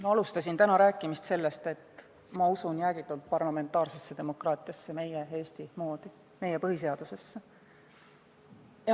Ma alustasin täna oma kõnet sellega, et ütlesin, et usun jäägitult parlamentaarsesse demokraatiasse meie Eesti moodi, meie põhiseadusesse.